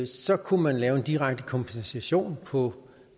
så kunne man lave en direkte kompensation på